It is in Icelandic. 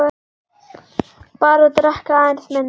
Bara drekka aðeins minna.